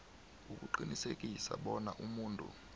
ukuqinisekisa bona umuntu